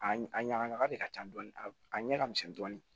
A a ɲaga ɲaga de ka ca dɔɔni a ɲɛ ka misɛn dɔɔni